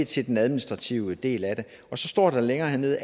til den administrative del af det og så står der længere nede